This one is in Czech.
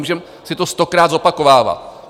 Můžeme si to stokrát zopakovávat.